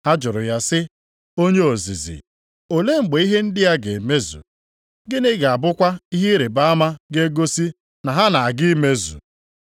Ha jụrụ ya sị, “Onye ozizi, olee mgbe ihe ndị a ga-emezu? Gịnị ga-abụkwa ihe ịrịbama ga-egosi na ha na-aga imezu?”